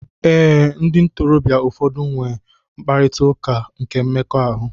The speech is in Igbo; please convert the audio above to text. Ee ndị ntorobịa ụfọdụ n'enwe mkparita ụka nke mmekọahụ